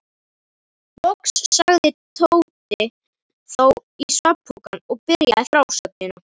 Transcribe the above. Loks lagðist Tóti þó í svefnpokann og byrjaði frásögnina.